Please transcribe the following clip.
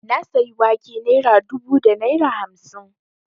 Na sayi wake naira dubu da naira hamsin